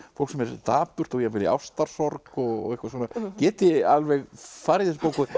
fólk sem er dapurt og jafnvel í ástarsorg og eitthvað svona geti alveg farið í þessa bók